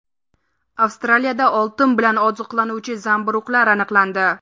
Avstraliyada oltin bilan oziqlanuvchi zamburug‘lar aniqlandi.